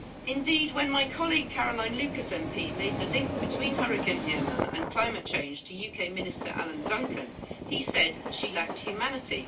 Indeed, when my colleague, Caroline Lucas MP made the link between Hurricane Irma and climate change to UK minister Alan Duncan, he said she lacked humanity.